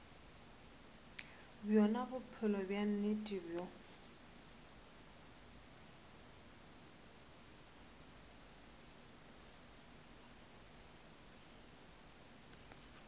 bjona bophelo bja nnete bjoo